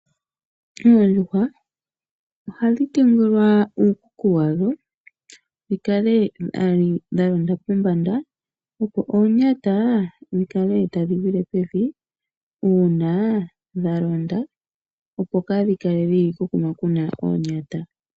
Oondjuhwa ohadhi tungilwa uukuku washo, dhi kale dha londa pombanda, opo oonyata dhi kale tadhi gwile pevi uuna dha londa, opo kaa dhi kale kokuma kuna oonyata.